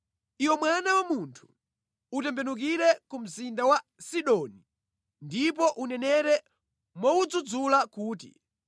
“Iwe mwana wa munthu, utembenukire ku mzinda wa Sidoni ndipo unenere mowudzudzula kuti,